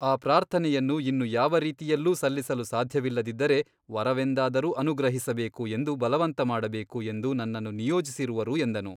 ಆ ಪ್ರಾರ್ಥನೆಯನ್ನು ಇನ್ನು ಯಾವ ರೀತಿಯಲ್ಲೂ ಸಲ್ಲಿಸಲು ಸಾಧ್ಯವಿಲ್ಲದಿದ್ದರೆ ವರವೆಂದಾದರೂ ಅನುಗ್ರಹಿಸಬೇಕು ಎಂದು ಬಲವಂತ ಮಾಡಬೇಕು ಎಂದು ನನ್ನನ್ನು ನಿಯೋಜಿಸಿರುವರು ಎಂದನು.